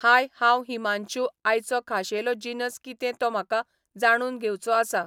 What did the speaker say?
हाय हांव हिमांशु आयचो खाशेलो जिनस कितें तो म्हाका जाणून घेवचो आसा